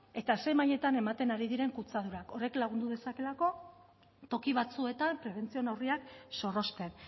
eta ze mailetan ematen ari diren kutsadurak horrek lagundu dezakeelako toki batzuetan presentzio neurriak zorrozten